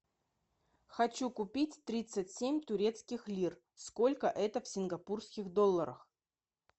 хочу купить тридцать семь турецких лир сколько это в сингапурских долларах